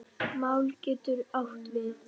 Mál getur átt við